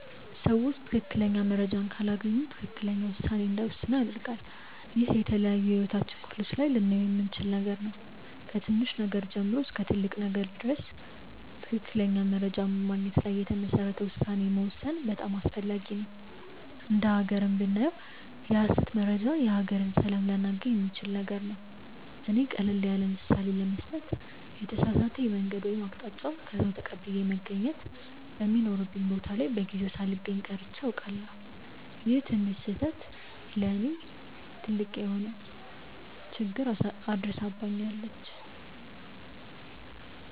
ሰዎች ትክክለኛ መረጃን ካላገኙ ትክክለኛ ውሳኔ እንዳይወስኑ ያደርጋል። ይህ በተለያዩ የህይወታችን ክፍሎች ላይ ልናየው የምንችል ነገር ነው። ከትንሽ ነገር ጀምሮ እስከ ትልቅ ነገር ድረስ ትክክለኛ መረጃን በማግኘት ላይ የተመሰረተ ውሳኔ መወሰን በጣም አስፈላጊ ነው። እንደ ሃገርም ብናየው የሐሰት መረጃ የሀገርን ሰላም ሊያናጋ የሚችል ነገር ነው። እኔ ቀለል ያለምሳሌ ለመስጠት የተሳሳተ የመንገድ ወይም አቅጣጫ ከሰዉ ተቀብዬ መገኘት በሚኖርብኝ ቦታ ላይ በጊዜው ሳልገኝ ቀርቼ አውቃለሁ። ይቺ ትንሽ ስህተት ለእኔ ትልቅ የሆነ ችግር አድርሳብኛለች።